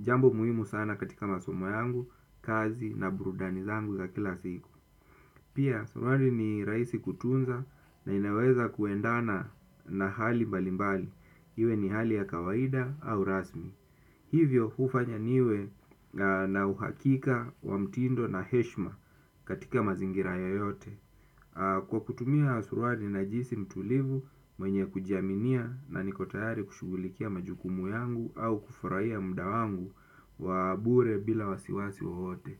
Jambo muhimu sana katika masomo yangu, kazi na burudani zangu za kila siku. Pia suruali ni rahisi kutunza na inaweza kuendana na hali mbalimbali. Iwe ni hali ya kawaida au rasmi. Hivyo hufanya niwe na uhakika wa mtindo na heshima. Katika mazingira yoyote kwa kutumia suruali najihisi mtulivu mwenye kujiaminia na niko tayari kushughulikia majukumu yangu au kufurahia muda wangu wa bure bila wasiwasi wowote.